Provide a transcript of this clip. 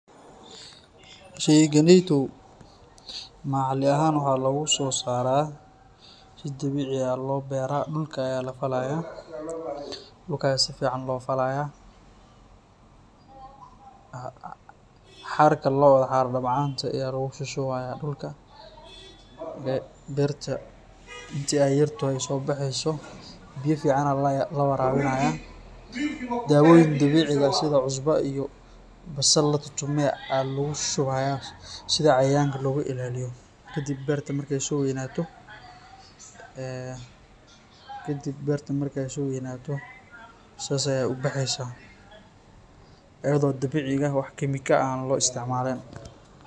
Sheekeneyto macli ahan waxa logusosarah, si deebeci aah lobeerah dulka Aya lafalaya dulka sufican lofalaya xarka lootha xaar dabcanta Aya lagu shubshubaya dulka, beerta daayarta sobaxeysoh biya fican lawarabinaya dawoweeyn dabecika sitha cosbo latutumoh lagu shubaya sethan cayayanga loga ilaliyah kadib beerta marka soweeynatoh sethasi Aya u baxeysah eyado dabecika wax chemical ah lo isticmalin.